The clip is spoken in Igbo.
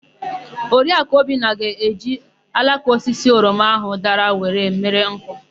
Oriakụ Obinna ga-eji alaka osisi oroma áhụ̀ dara were mere nkụ.